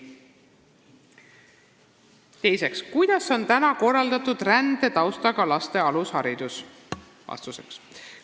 Teiseks: "Kuidas on täna korraldatud rändetaustaga laste alusharidus?